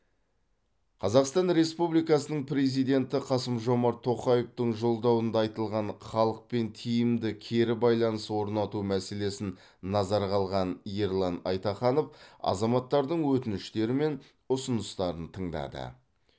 қазақстан республикасының президенті қасым жомарт тоқаевтың жолдауында айтылған халықпен тиімді кері байланыс орнату мәселесін назарға алған ерлан айтаханов азаматтардың өтініштері мен ұсыныстарын тыңдады